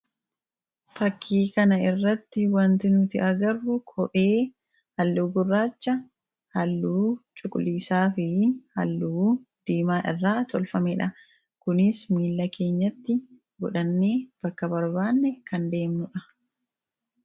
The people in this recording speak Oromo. Fakkii kana irratti wanti nuti agarru kophee halluu gurraacha, halluu cuquliisaa fi halluu diimaa irraa tolfame dha. Kunis miilla keenyatti godhannee bakka barbaanne kan deemnu dha.